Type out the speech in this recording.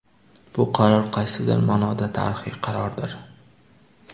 Bu qaror qaysidir ma’noda tarixiy qarordir.